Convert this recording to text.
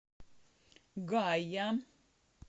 гая